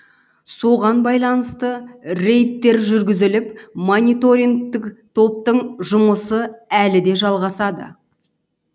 соған байланысты рейдтер жүргізіліп мониторингтік топтың жұмысы әлі де жалғасады